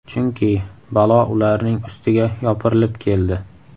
Chunki balo ularning ustiga yopirilib keldi.